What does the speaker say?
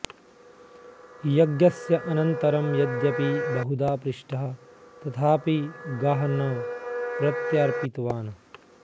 यज्ञस्य अनन्तरं यद्यपि बहुधा पृष्टः तथापि गाः न प्रत्यर्पितवान्